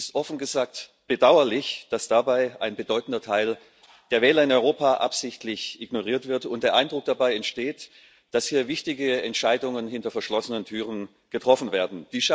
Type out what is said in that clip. Es ist offen gesagt bedauerlich, dass dabei ein bedeutender Teil der Wähler in Europa absichtlich ignoriert wird und der Eindruck dabei entsteht, dass hier wichtige Entscheidungen hinter verschlossenen Türen getroffen werden.